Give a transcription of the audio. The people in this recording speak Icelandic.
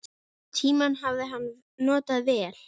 Tímann hafði hann notað vel.